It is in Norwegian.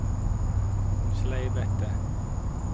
sleivete